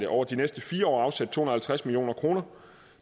over de næste fire år afsættes og halvtreds million kroner